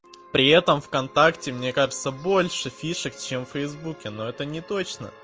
при этом вконтакте мне кажется больше фишек чем в фейсбуке но это неточно